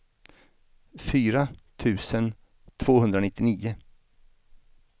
fyra tusen tvåhundranittionio